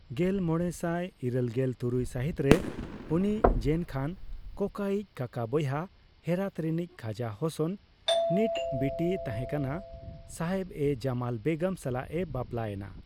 ᱜᱮᱞᱢᱚᱲᱮᱥᱟᱭ ᱤᱨᱟᱹᱞᱜᱮᱞ ᱛᱩᱨᱩᱭ ᱥᱟᱹᱦᱤᱛ ᱨᱮ ᱩᱱᱤ ᱡᱮᱱ ᱠᱷᱟᱱ ᱠᱳᱠᱟ ᱤᱡ ᱠᱟᱠᱟ ᱵᱚᱭᱦᱟ ᱦᱮᱨᱟᱛ ᱨᱤᱱᱤᱡ ᱠᱷᱟᱡᱟ ᱦᱚᱥᱚᱱ ᱱᱤᱴ ᱵᱤᱴᱤᱭ ᱛᱟᱦᱮᱸ ᱠᱟᱱᱟ ᱥᱟᱦᱮᱵᱼᱮᱼᱡᱚᱢᱟᱞ ᱵᱮᱜᱚᱢ ᱥᱟᱞᱟᱜ ᱮ ᱵᱟᱯᱞᱟ ᱮᱱᱟ᱾